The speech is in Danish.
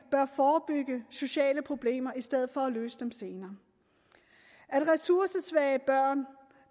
forebygge sociale problemer i stedet for at løse dem senere at ressourcesvage børn